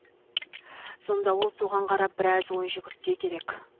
сонда ол соған қарап біраз ой жүгіртсе керек